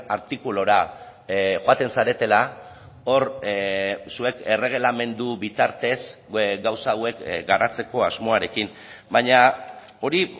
artikulura joaten zaretela hor zuek erregelamendu bitartez gauza hauek garatzeko asmoarekin baina hori